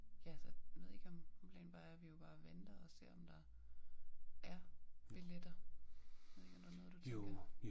Ja så jeg ved ikke om om planen bare er vi jo bare venter og ser om der er billetter ved ikke om der er noget du tænker